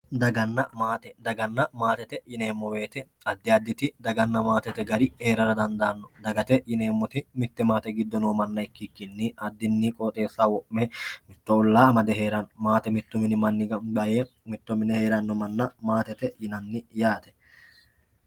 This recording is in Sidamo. Daganna maate yineemmo woyte addi additi dagana maate no maatete gari heera dandaano dagate yineemmoti mite maate giddo noo manna ikkikki addini qooxxeessa wo'me olla amade heerano maate mitu mini gamba yee mitto mine heerano manna maatete yaate.